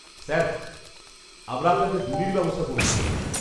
-Sir, আমরা আপনাকে ডুলির ব্যবস্থা করে দিতে পারি।